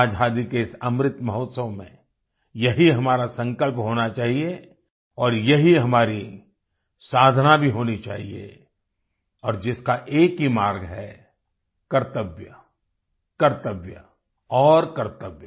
आजादी के इस अमृत महोत्सव में यही हमारा संकल्प होना चाहिए और यही हमारी साधना भी होनी चाहिए और जिसका एक ही मार्ग है कर्तव्य कर्तव्य और कर्तव्य